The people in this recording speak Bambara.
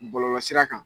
Bɔlɔlɔsira kan